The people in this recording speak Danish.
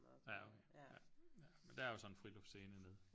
Ja okay ja ja men der er jo sådan en friluftsscene nede